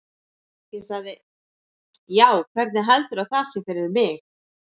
Ég sagði: Já, hvernig heldurðu að það sé fyrir mig?